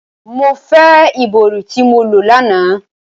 Mo ǹ fe ibori ti mo lo lana!